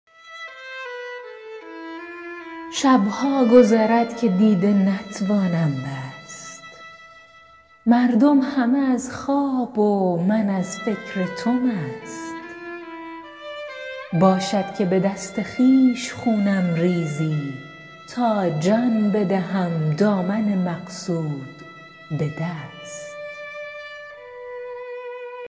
شب ها گذرد که دیده نتوانم بست مردم همه از خواب و من از فکر تو مست باشد که به دست خویش خونم ریزی تا جان بدهم دامن مقصود به دست